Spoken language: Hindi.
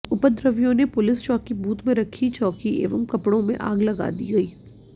उपद्रवियों ने पुलिस चौकी बूथ में रखी चौकी एवं कपड़ों में आग लगा दी गई